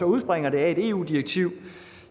udspringer af et eu direktiv